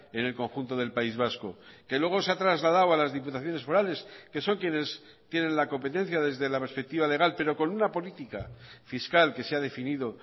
en el conjunto del país vasco que luego se ha trasladado a las diputaciones forales que son quienes tienen la competencia desde la perspectiva legal pero con una política fiscal que se ha definido